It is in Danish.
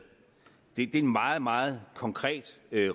det er en meget meget konkret